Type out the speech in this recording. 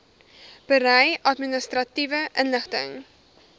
berei administratiewe inligting